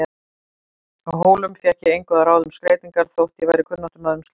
Á Hólum fékk ég engu að ráða um skreytingar þótt ég væri kunnáttumaður um slíkt.